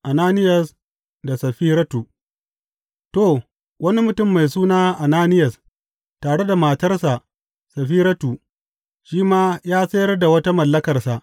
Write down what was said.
Ananiyas da Saffiratu To wani mutum mai suna Ananiyas tare da matarsa Saffiratu, shi ma ya sayar da wata mallakarsa.